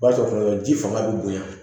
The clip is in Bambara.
O b'a sɔrɔ ji fanga bɛ bonya